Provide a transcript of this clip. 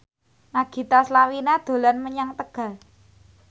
Nagita Slavina dolan menyang Tegal